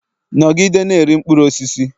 Nọgide na-eri mkpụrụ osisi!